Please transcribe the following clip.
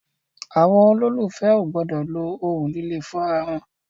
Àwọn olólùfè o gbọdọ lo ohun líle fún ara wọn.